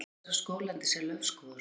Hluti þessa skóglendis er laufskógur.